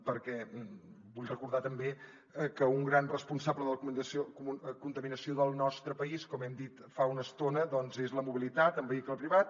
perquè vull recordar també que un gran responsable de la contaminació del nostre país com hem dit fa una estona és la mobilitat en vehicle privat